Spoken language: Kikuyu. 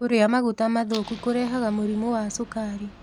Kũrĩa magũta mathũkũ kũrehaga mũrĩmũ wa cũkarĩ